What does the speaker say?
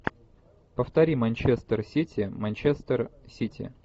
повтори манчестер сити манчестер сити